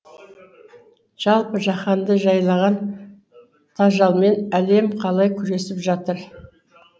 жалпы жаһанды жайлаған тажалмен әлем қалай күресіп жатыр